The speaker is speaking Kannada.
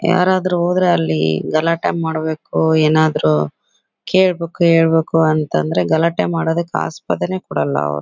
ಯಾರಾದರೂ ಹೋದ್ರೆ ಅಲ್ಲಿ ಗಲಾಟೆ ಮಾಡ್ಬೇಕು ಏನಾದರು ಕೇಳ್ಬೇಕು ಹೇಳ್ಬೇಕು ಅಂತ ಅಂದ್ರೆ ಗಲಾಟೆ ಮಾಡೋದಕ್ಕೆ ಆಸ್ಪದನೆನೇ ಕೊಡೋಲ್ಲ ಅವರು.